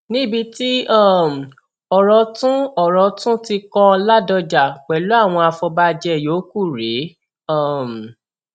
níbi tí um ọrọ tún ọrọ tún ti kan ládọjà pẹlú àwọn afọbajẹ yòókù rèé um